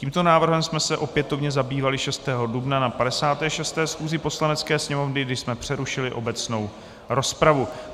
Tímto návrhem jsme se opětovně zabývali 6. dubna na 56. schůzi Poslanecké sněmovny, kdy jsme přerušili obecnou rozpravu.